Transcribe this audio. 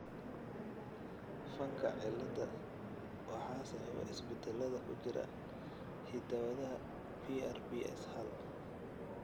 Fanka cilada waxaa sababa isbeddellada ku jira hidda-wadaha PRPS hal.